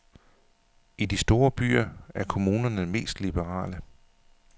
I de store byer er kommunerne mest liberale.